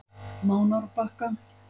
Mánárbakka